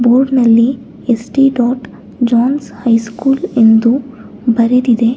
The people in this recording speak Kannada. ಬೋರ್ಡ್ ನಲ್ಲಿ ಎಸ್_ಟಿ ಡಾಟ್ ಜಾನ್ ಹೈಸ್ಕೂಲ್ ಎಂದು ಬರೆದಿದೆ.